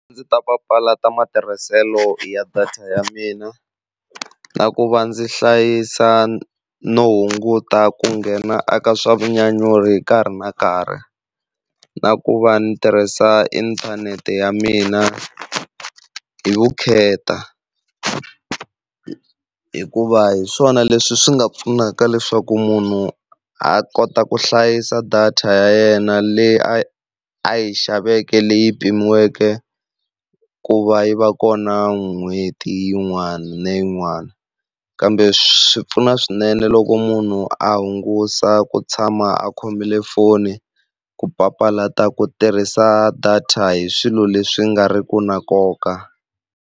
Ndzi ta papalata matirhiselo ya data ya mina na ku va ndzi hlayisa no hunguta ku nghena eka swa vunyanyuri nkarhi na nkarhi, na ku va ni tirhisa inthanete ya mina hi vukheta, hikuva hi swona leswi swi nga pfunaka leswaku munhu a kota ku hlayisa data ya yena leyi a yi a yi xaveke leyi pimiweke ku va yi va kona n'hweti yin'wana na yin'wana. Kambe swi pfuna swinene loko munhu a hungusa ku tshama a khomile foni ku papalata ku tirhisa data hi swilo leswi nga riki na nkoka.